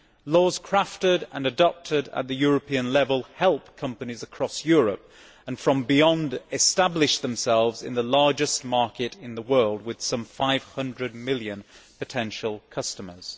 Laws crafted and adopted at the European level help companies across Europe and from beyond to establish themselves in the largest market in the world with some 500 million potential customers.